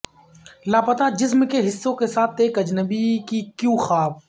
لاپتہ جسم کے حصوں کے ساتھ ایک اجنبی کی کیوں خواب